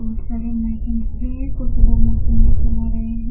बहोत सारे मशीनस भी है कुछ लोग मशीन भी चला रहे हैं।